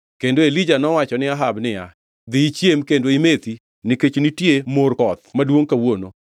Kendo Elija nowacho ni Ahab niya, “Dhi ichiem kendo imethi nikech nitie mor koth maduongʼ kawuono.”